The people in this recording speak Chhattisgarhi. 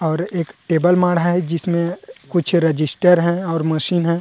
और एक टेबल माढ़ा है जिसमे कुछ रजिस्टर है और मशीन है।